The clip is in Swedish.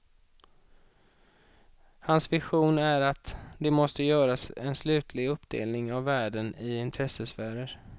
Hans vision är att det måste göras en slutlig uppdelning av världen i intressesfärer.